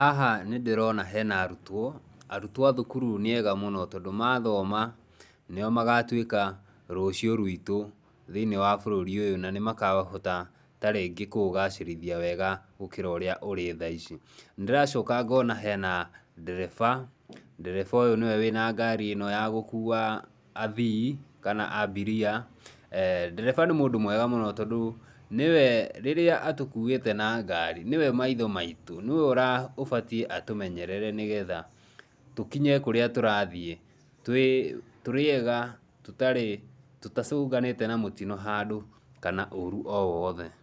Haha nĩ ndĩrona he na arutwo, arutwo a thukuru nĩ ega mũno tondũ ma thoma, nĩ o magatuĩka rũciũ rwitũ thĩinĩ wa bũrũri ũyũ na nĩ makahota ta rĩngĩ kũũgacĩrithia wega gũkĩra ũrĩa ũrĩ thaa ici. Nĩ ndĩracoka ngona he na ndereba, ndereba ũyũ nĩ we wĩ na ngari ĩno ya gũkuua athii kana abiria. Ndereba nĩ mũndũ mwega mũno tondũ nĩ we, rĩrĩa atũkuĩte na ngari nĩwe maitho maitũ, nĩ we ũbatie atũmenyerere nĩ getha tũkinye kũrĩa tũrathiĩ tũrĩ ega tutacũnganĩte na mũtino handũ kana ũũru o wothe.